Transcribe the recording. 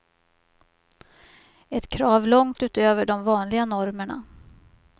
Ett krav långt utöver de vanliga normerna.